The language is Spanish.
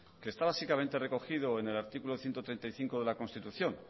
que está básicamente recogido en el artículo ciento treinta y cinco de la constitución